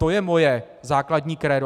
To je moje základní krédo.